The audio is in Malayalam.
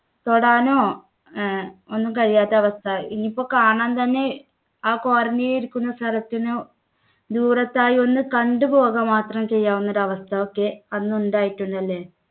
തൊടാനോ അഹ് ഒന്നും കഴിയാത്ത അവസ്ഥ. ഇനിയിപ്പോ കാണാൻ തന്നെ ആ quarantine ല്‍ ഇരിക്കുന്ന സ്ഥലത്തിന് ദൂരത്തായി ഒന്ന് കണ്ടു പോക മാത്രം ചെയ്യാവുന്ന ഒരു അവസ്ഥ ഒക്കെ അന്നുണ്ടായിട്ടുണ്ടല്ലേ?